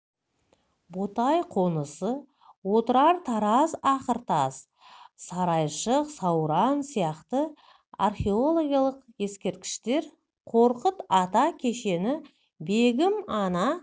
ботай қонысы отырар тараз ақыртас сарайшық сауран сияқты археологиялық ескерткіштер қорқыт ата кешені бегім ана